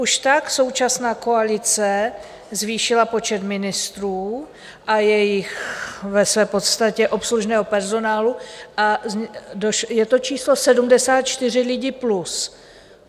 Už tak současná koalice zvýšila počet ministrů a jejich ve své podstatě obslužného personálu a je to číslo 74 lidí plus.